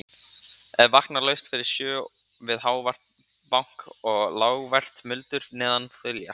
En vakna laust fyrir sjö við hávært bank og lágvært muldur neðan þilja.